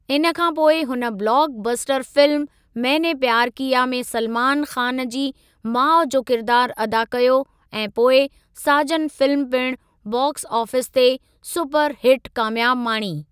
इन खां पोइ हुन blockbuster film Maine Pyar Kiya में सलमान ख़ान जी माउ जो किरिदारु अदा कयो ऐं पोइ साजन फिल्म पिणु बाक्स आफ़ीस ते सुपर हिटु कामयाबी माणी।